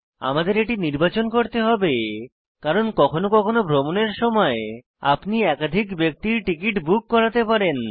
আমাদের এটি নির্বাচন করতে হবে কারণ কখনো কখনো ভ্রমণের সময় আপনি একাধিক ব্যক্তির টিকিট বুক করাতে পারেন